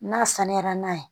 N'a sanuyara n'a ye